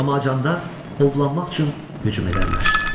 Amma acanda ovlanmaq üçün hücum edərlər.